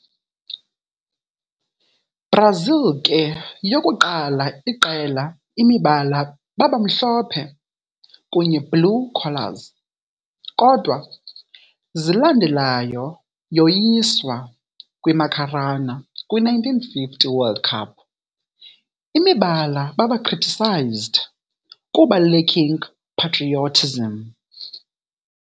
Brazil ke yokuqala iqela imibala baba mhlophe kunye blue collars, kodwa zilandelayo yoyisa kwi - Maracanã kwi-1950 World Cup, imibala baba criticised kuba lacking patriotism.